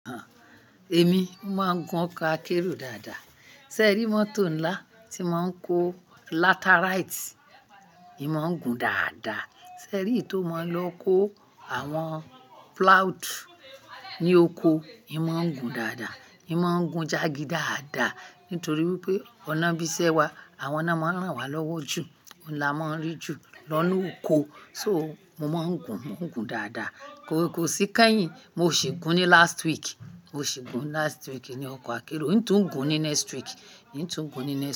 Àh, èmi máa ń gun ọkọ̀ akérò dáadáa. Sẹ́ẹ́rì mọ́tò ńlá tí máa ń kó laterite, èmi máa ń gun dáadáa. Sẹ́ẹ́rì tó máa ń lọ kó àwọn plough ní oko, èmi máa ń gun dáadáa. Èmi máa ń gun jagí dáadáa nítorí wípé ọ̀nà bíṣẹ́ wa, àwọn ná máa ń ràn wá lọ́wọ́ jù. Óún là máa ń rí jù lọ́na oko. So, mo máa ń gun, mò ń gun dáadáa. Kò sì kányìn, mo ṣì gun ní last week. Mo ṣì gun last week ní ọkọ̀ akérò. N tó gun ní next week, n tó gun ní next.